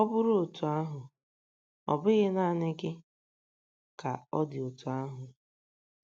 Ọ bụrụ otú ahụ, ọ bụghị naanị gị ka ọ dị otú ahụ.